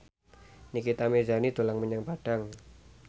Nikita Mirzani dolan menyang Padang